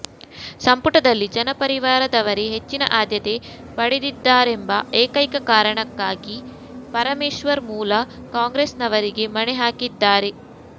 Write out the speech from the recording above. ಸಂಪುಟದಲ್ಲಿ ಜನತಪರಿವಾರದವರೇ ಹೆಚ್ಚಿನ ಆದ್ಯತೆ ಪಡೆದಿದ್ದಾರೆಂಬ ಏಕೈಕ ಕಾರಣಕ್ಕಾಗಿ ಪರಮೇಶ್ವರ್ ಮೂಲ ಕಾಂಗ್ರೆಸ್ನವರಿಗೆ ಮಣೆ ಹಾಕಿದ್ದಾರೆ